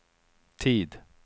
tid